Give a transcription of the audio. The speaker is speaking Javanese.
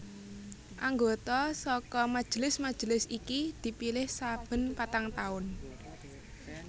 Anggota saka majelis majelis iki dipilih saben patang taun